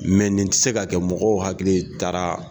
nin tɛ se ka kɛ mɔgɔw hakili taara